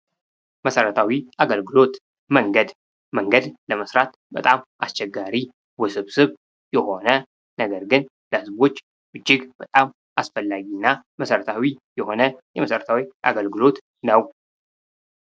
መሰረታዊ አገልግሎት መንገድ፡- መንገድ ለመስራት በጣም አስቸጋሪ ውስብስብ የሆነ ነገር ግን ለህዝቦች እጅግ በጣም አስፈላጊ እና መሰረታዊ የሆነ የመሠረታዊ እገልግሎት ነው።